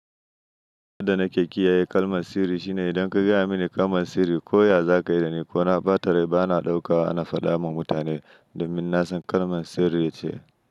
Abunda nake kiyaye kalman sirri shine idan ka gaya mini kalman sirri ko ya za ka yi dani ko na ba ta rai bana ɗauka ana faɗawa mutane domin na san kalman sirri ce.